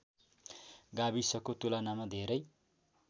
गाविसको तुलनामा धेरै